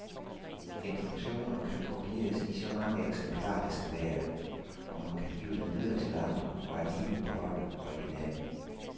Informationer kan kopieres i så mange eksemplarer det skal være, og man kan give dem videre til andre, og alligevel beholde originalen.